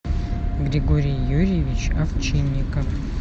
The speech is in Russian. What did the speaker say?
григорий юрьевич овчинников